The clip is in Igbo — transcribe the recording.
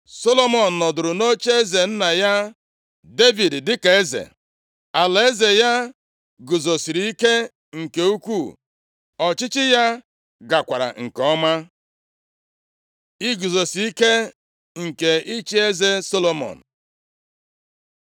Solomọn nọdụrụ nʼocheeze nna ya Devid dịka eze. Alaeze ya guzosiri ike nke ukwuu. Ọchịchị ya gakwara nke ọma. Iguzosi ike nke ịchị eze Solomọn